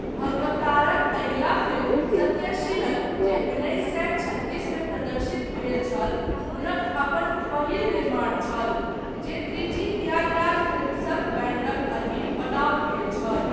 भगवतारक अगिला फिल्म, सत्यशीलन जे उन्नीस सए छत्तीस मे प्रदर्शित भेल छल , हुनक अपन, पहिल निर्माण छल, जे त्रिची त्यागराज फिल्म्सक बैनरक अधीन, बनाओल गेल छल।